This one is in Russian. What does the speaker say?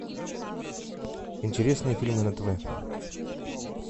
интересные фильмы на тв